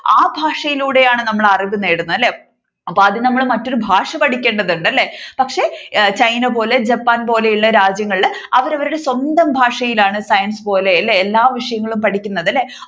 ആ ഭാഷയിലൂടെയാണ് നമ്മൾ അറിവ് നേടുന്നത് അല്ലെ. അപ്പോൾ ആദ്യം നമ്മൾ മറ്റൊരു ഭാഷ പഠിക്കേണ്ടതുണ്ട് അല്ലെ പക്ഷെ china പോലെ japan പോലെയുള്ള രാജ്യങ്ങളിൽ അവർ അവരുടെ സ്വന്തം ഭാഷയിലാണ് science പോലെ എല്ലാ വിഷയങ്ങളും പഠിക്കുന്നത്